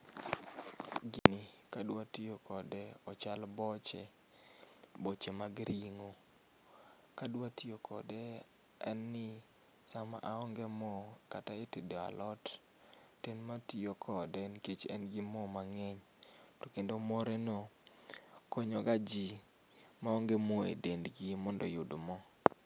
Gini kadwa toyo kode, ochalo boche, boche mag ringo. Kadwa tiyo kode en ni sama aonge moo kata itedo alot to en ma atiyo kode nikech en gi mo mangeny to kendo moreno konyo ga jii maonge moo e dendgi mondo oyud moo